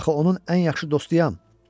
Axı onun ən yaxşı dostuyam.